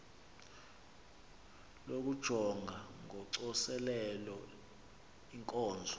lokujonga ngocoselelo iinkonzo